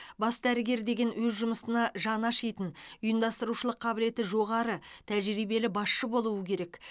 бас дәрігер деген өз жұмысына жаны ашитын ұйымдастырушылық қабілеті жоғары тәжірибелі басшы болуы керек